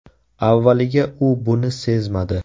Avvaliga u buni sezmadi.